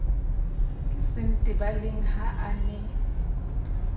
ke sentebaleng ha a ne